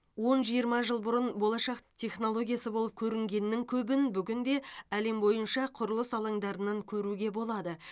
он жиырма жыл бұрын болашақ технологиясы болып көрінгеннің көбін бүгінде әлем бойынша құрылыс алаңдарынан көруге болады